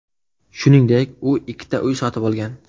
Shuningdek, u ikkita uy sotib olgan.